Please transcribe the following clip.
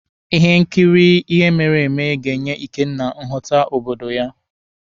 Ihe nkiri ihe mere eme ga-enye Ikenna nghọta obodo ha.